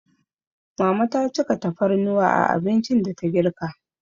Mama ta cika tafarnuwa a abincin da ta girka.